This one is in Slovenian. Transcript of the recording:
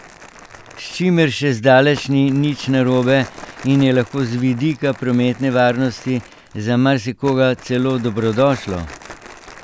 S čimer še zdaleč ni nič narobe in je lahko z vidika prometne varnosti za marsikoga celo dobrodošlo!